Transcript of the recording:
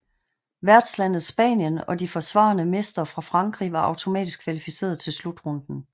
Værtslandet Spanien og de forsvarende mestre fra Frankrig var automatisk kvalificeret til slutrunden